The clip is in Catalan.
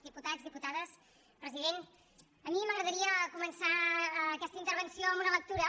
diputats diputades president a mi m’agradaria començar aquesta intervenció amb una lectura